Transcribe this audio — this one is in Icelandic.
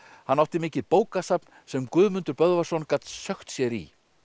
hann átti mikið bókasafn sem Guðmundur Böðvarsson gat sökkt sér í